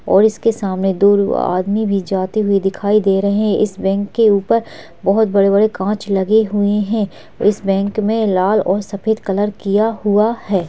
और इसके सामने दो आदमी भी जाते हुए दिखाई दे रहे है इस बैंक के ऊपर बहोत बड़े- बड़े काँच लगे हुए है इस बैंक में लाल और सफेद कलर किया हुआ हैं।